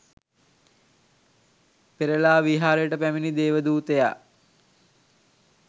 පෙරළා විහාරයට පැමිණි දේවදූතයා